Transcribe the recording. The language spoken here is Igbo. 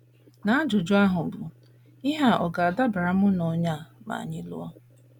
n’ajụjụ ahụ bụ́, Ihe ọ̀ ga - adabara mụ na onye a ma anyị lụọ?